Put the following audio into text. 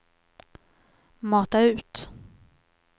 mata ut